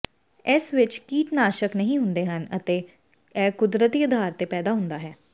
ਇਸ ਵਿੱਚ ਕੀਟਨਾਸ਼ਕ ਨਹੀਂ ਹੁੰਦੇ ਹਨ ਅਤੇ ਇਹ ਕੁਦਰਤੀ ਆਧਾਰ ਤੇ ਪੈਦਾ ਹੁੰਦਾ ਹੈ